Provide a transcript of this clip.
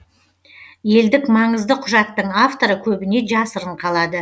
елдік маңызды құжаттың авторы көбіне жасырын қалады